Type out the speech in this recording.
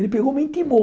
Ele pegou e me intimou.